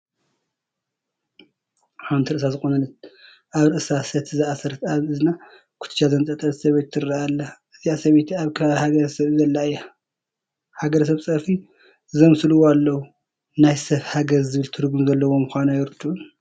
ሓንቲ ርእሳ ዝተቆነነት፣ ኣብ ርእሳ ሰቲ ዝኣሰረት፣ ኣብ እዝና ኩትቻ ዘንጠልጠለት ሰበይቲ ትርአ ኣላ፡፡ እዚኣ ሰበይቲ ኣብ ከባቢ ሃገረ-ሰብ ዘላ እያ፡፡ ሃገረሰብ ፀርፊ ዘምስልዎ ኣለዉ፡፡ ናይ ሰብ ሃገር ዝብል ትርጉም ዘለዎ ምዃኑ ኣይርድኡን፡፡